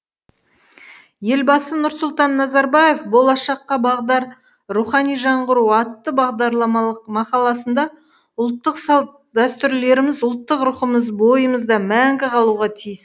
елбасы нұрсұлтан назарбаев болашаққа бағдар рухани жаңғыру атты бағдарламалық мақаласында ұлттық салт дәстүрлеріміз ұлттық рухымыз бойымызда мәңгі қалуға тиіс